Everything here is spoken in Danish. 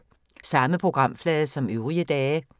Samme programflade som øvrige dage